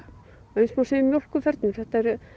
eins má segja um mjólkurfernur þetta eru